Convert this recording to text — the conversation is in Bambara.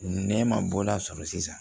Ne ma bɔ a sɔrɔ sisan